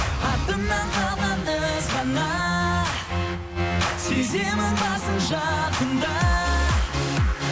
артымнан қалган із ғана сеземін барсың жақында